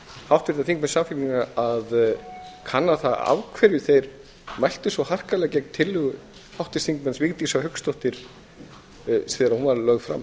háttvirta þingmenn samfylkingarinnar að kanna það af hverju þeir mæltu svo harkalega gegn tillögu háttvirts þingmanns vigdísar hauksdóttur þegar hún var lögð fram